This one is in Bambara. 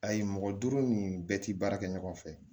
Ayi mɔgɔ duuru ni bɛɛ tɛ baara kɛ ɲɔgɔn fɛ